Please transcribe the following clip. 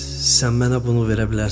Sən mənə bunu verə bilərsən?